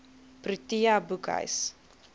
protea boekhuis